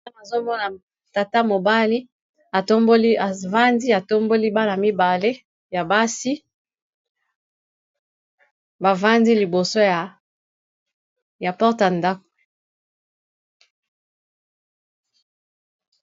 Awa nazomona tata mobali avandi atomboli bana ibale ya basi bavandi liboso ya porte ya ndako.